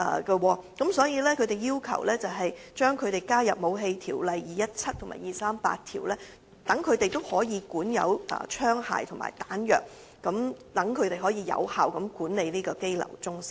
因此，他們要求獲納入《武器條例》和《火器及彈藥條例》的範圍，以便可管有槍械和彈藥，有效地管理該中心。